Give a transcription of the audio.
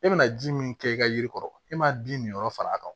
E bɛna ji min kɛ i ka yiri kɔrɔ e man di min yɔrɔ far'a kan